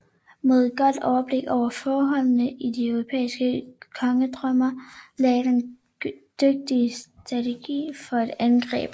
Med et godt overblik over forholdene i de europæiske kongedømmer lagde den en dygtig strategi for et angreb